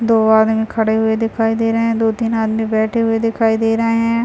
दो आदमी खड़े हुए दिखाई दे रहे है दो-तीन आदमी बैठे हुए दिखाई दे रहे है।